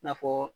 I n'a fɔ